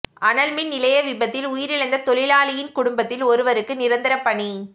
அனல் மின் நிலைய விபத்தில் உயிரிழந்த தொழிலாளியின் குடும்பத்தில் ஒருவருக்கு நிரந்தரப் பணி